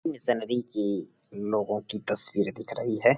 इस में नदी की लोंगो की तस्वीरे दिख रही है।